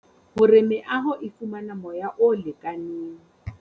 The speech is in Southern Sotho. Hore meaho e fumana moya o lekaneng.